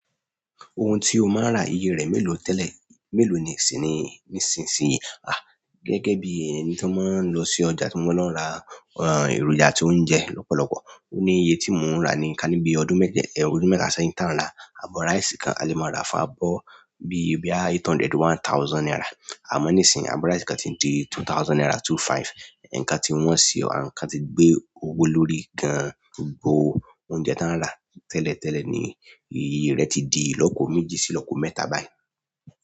Òun ti o maa n ra iye re melo tẹlẹ melo sini nisisiyi? Ah gẹ́gẹ́ bí ẹni tí ó máa ń lọ sí ọjà tí mo máa ń lọ ra èròjà àti oúnjẹ lọ́pọ̀lọpọ̀. Ó ní iye tí mò ń rà ní kání bí ọdún mẹ́ta sẹ́yìn tán ra abọ rísí kan a lè máa rà fún abọ bí i bí i eight hundred, one thousand naira. Àmọ́ nísìnyí abọ rísí kan ti di two thousand naira two five. Ẹ̀ǹka tí wọ́n ṣe, ẹ̀ǹka tí gbé owó lórí gan an bo oúnjẹ tí wọ́n ń rà tẹ́lẹ̀ tẹ́lẹ̀ ni iye rẹ̀ ti di ìlópo méjì sí lópo mẹ́ta báyìí.